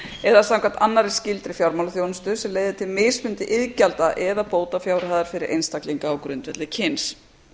eða samkvæmt annarri skyldri fjármálaþjónustu sem leiði til mismunandi iðgjalda eða bótafjárhæðar fyrir einstaklinga á grundvelli kyns